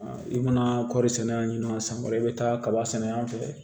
I mana kɔri sɛnɛ yani san wɛrɛ i bɛ taa kaba sɛnɛ yan fan fɛ